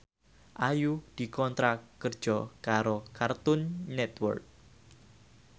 Ayu dikontrak kerja karo Cartoon Network